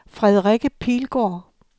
Frederikke Pilgaard